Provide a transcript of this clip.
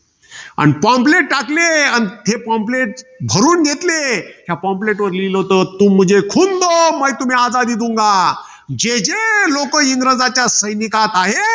अन pomplate टाकले. अन हे pomplate भरून घेतले. त्या pomplate वर लिहिलं होतं. जे जे लोकं इंग्रजांच्या सैनिकात आहेत.